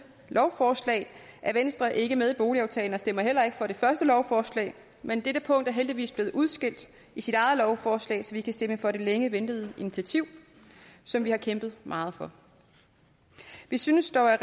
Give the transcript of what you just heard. lovforslag er venstre ikke med boligaftalen og vi stemmer heller ikke for det første lovforslag men dette punkt er heldigvis blevet udskilt i sit eget lovforslag så vi kan stemme for det længe ventede initiativ som vi har kæmpet meget for vi synes dog at